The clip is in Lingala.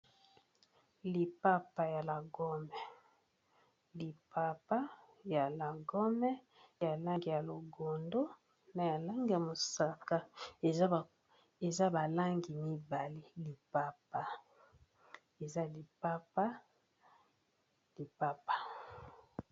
Lipapa ya lagome lipapa ya lagome ya langi ya longondo na ya langi ya mosaka eza balangi mibale lipapa eza lipapa.